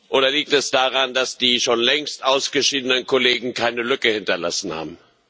Oder liegt es daran, dass die schon längst ausgeschiedenen Kollegen keine Lücke hinterlassen haben?